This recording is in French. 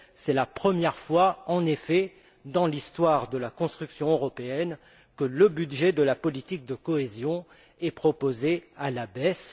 C'est la première fois, en effet, dans l'histoire de la construction européenne, que le budget de la politique de cohésion est proposé à la baisse.